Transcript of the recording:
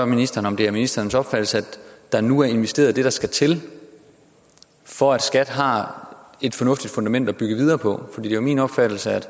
ministeren om det er ministerens opfattelse at der nu er investeret det der skal til for at skat har et fornuftigt fundament at bygge videre på for det er min opfattelse at